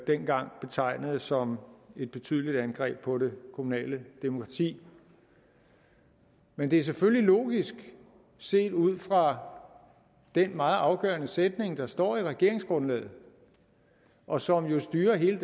dengang betegnede som et betydeligt angreb på det kommunale demokrati men det er selvfølgelig logisk set ud fra den meget afgørende sætning der står i regeringsgrundlaget og som jo styrer hele